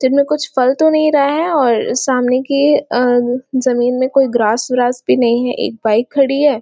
इस साइड में कुछ फल तो नहीं रहा है और सामने की अह जमीन में कोंई ग्रास विरास भी नहीं है एक बाइक खड़ी है। .